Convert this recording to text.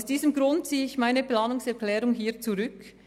Aus diesem Grund ziehe ich meine Planungserklärung hiermit zurück.